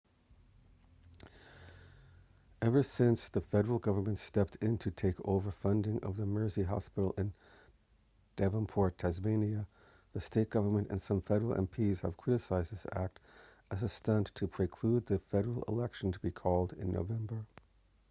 ever since the federal government stepped in to take over funding of the mersey hospital in devonport tasmania the state government and some federal mps have criticised this act as a stunt in the prelude to the federal election to be called by november